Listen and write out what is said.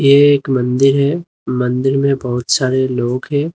ये एक मंदिर है मंदिर में बहुत सारे लोग है।